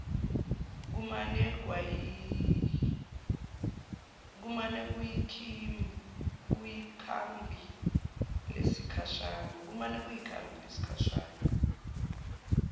kumane kuyikhambi lesikhashana